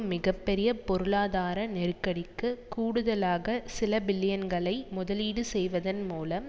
மிக பெரிய பொருளாதார நெருக்கடிக்கு கூடுதலாக சில பில்லியன்களை முதலீடு செய்வதன் மூலம்